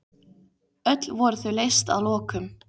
Öll voru þau leyst að lokum.